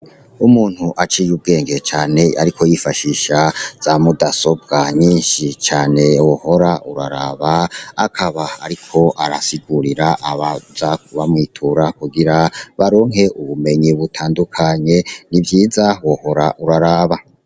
Umuntu aciye ubwenge cane ariko yifashisha za mudasobwa nyishi cane wohora uraraba, akaba ariko arasigurira abaca bamwitura kugira baronke ubumenyi butandukanye ni vyiza wohora uraraba.